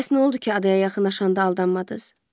Bəs nə oldu ki, adaya yaxınlaşanda aldanmadız?